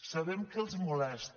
sabem que els molesta